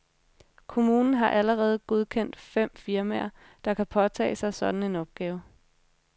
Kommunen har allerede godkendt fem firmaer, der kan påtage sig sådan en opgave.